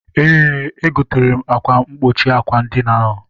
Eé, egotere m akwa mkpuchi àkwà edina ahụ.